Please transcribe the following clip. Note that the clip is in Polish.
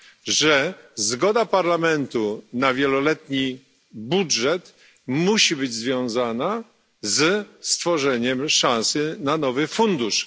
że zgoda Parlamentu na wieloletni budżet musi być związana ze stworzeniem szansy na nowy fundusz.